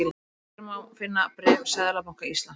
Hér má finna bréf Seðlabanka Íslands